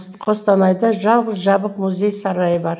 қостанайда жалғыз жабық мұз сарайы бар